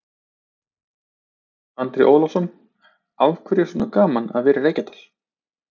Andri Ólafsson: Af hverju er svona gaman að vera í Reykjadal?